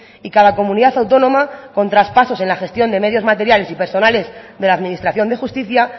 y cada comunidad autónoma con traspasos en la gestión de medios materiales y personales de la administración de justicia